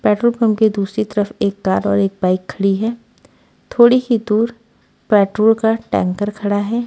Petrol pump के दूसरी तरफ एक कार और एक बाइक खड़ी है थोड़ी ही दूर पेट्रोल का टैंकर खड़ा है।